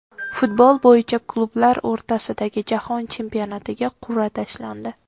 Futbol bo‘yicha klublar o‘rtasidagi Jahon chempionatiga qur’a tashlandi.